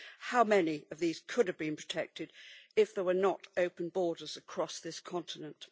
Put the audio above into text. How many of these could have been protected if there were not open borders across this continent?